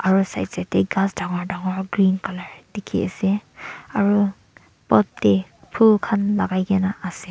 aro side side tae ghas dangor dangor green colour dikhiase aru pot tae phul khan lakai naase.